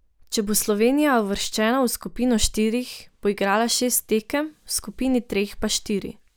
Če bo Slovenija uvrščena v skupino štirih, bo igrala šest tekem, v skupini treh pa štiri.